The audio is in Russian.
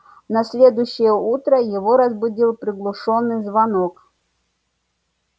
на следующее утро его разбудил приглушённый звонок